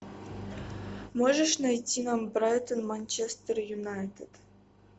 можешь найти нам брайтон манчестер юнайтед